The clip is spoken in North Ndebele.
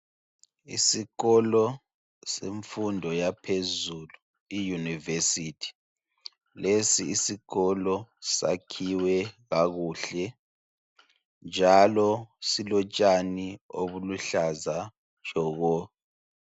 Isikolo semfundo yaphezulu i univesity lesi isikolo sakhiwe kakuhle njalo silotshani obuluhlaza tshoko